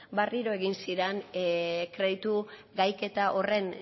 berriro egin ziren kreditu gaiketa horren